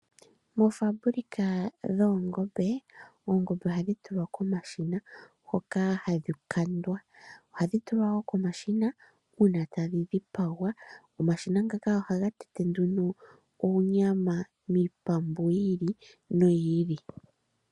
Moofambulika dhoongombe, oongombe ohadhi tulwa komashina hoka hadhi kandwa. Ohadhi tulwa wo komashina uuna tadhi dhi dhipagwa. Omashina ngaka ohaga tende nduno oonyama miitandu yi ili noyi ili.